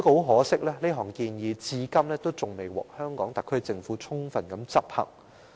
可惜，建議至今仍然未獲香港特區政府充分執行。